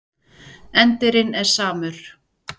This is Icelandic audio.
Endirinn er samur.